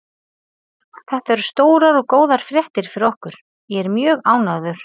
Þetta eru stórar og góðar fréttir fyrir okkur, ég er mjög ánægður.